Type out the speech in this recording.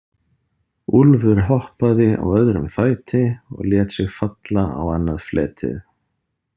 Úlfur hoppaði á öðrum fæti og lét sig falla á annað fletið.